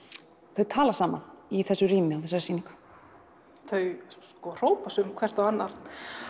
þau tala saman í þessu rými á þessari sýningu þau hrópa sum hvert á annað